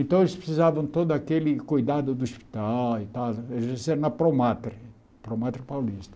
Então eles precisavam de todo aquele cuidado do hospital e tal, eles eles nasceram na promátria, promátria paulista.